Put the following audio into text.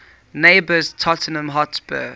neighbours tottenham hotspur